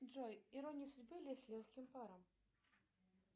джой ирония судьбы или с легким паром